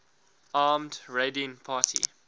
armed raiding party